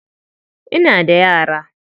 Ina da yara.